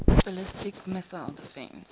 ballistic missile defense